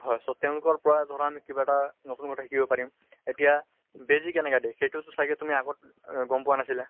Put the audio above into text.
হয় so তেওঁলোকৰ পৰা আমি কিবা এটা নতুন কথা শিকিব পাৰিম। এতিয়া বেজি কেনেকা দিয়ে সেইটো চাগে তুমি আগতে এহ গম পোৱা নাছিলা?